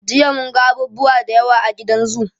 Jiya mun ga abubuwa da yawa a gidan zoo.